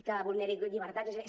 que vulneri llibertats o que